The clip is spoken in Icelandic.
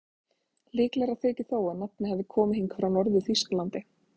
Líklegra þykir þó að nafnið hafi komið hingað frá Norður-Þýskalandi.